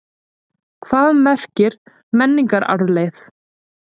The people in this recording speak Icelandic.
Hvað merkir menningararfleifð?